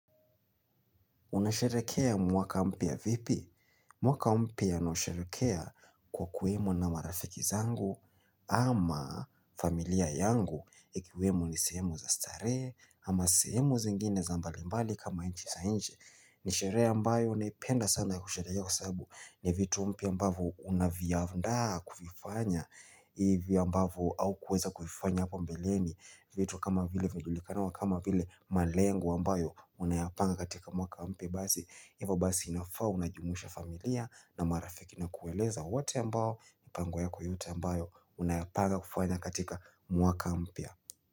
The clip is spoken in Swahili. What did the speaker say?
Unasherehekea mwaka mpya vipi? Mwaka mpya nausherehekea kwa kuwemo na marafiki zangu ama familia yangu ikiwemo ni sehemu za starehe ama sehemu zingine za mbalimbali kama nchi za nje. Ni sherehe ambayo naipenda sana kusherehekea kwa sababu ni vitu mpya ambavyo unaviandaa kuvifanya Ivi ambavo haukuweza kuifanya hapa mbeleni vitu kama vile hujulikanao kama vile malengo ambayo unayapanga katika mwaka mpya basi Ivo basi inafaa unajumuisha familia na marafiki na kueleza wote ambao mipango yako yote ambayo unayapanga kufanya katika mwaka mpya.